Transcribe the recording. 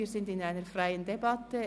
Wir sind in einer freien Debatte.